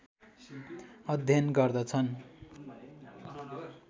अध्यन गर्दछन्